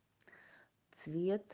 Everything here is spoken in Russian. цвет